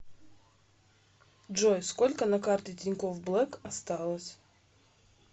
джой сколько на карте тинькофф блэк осталось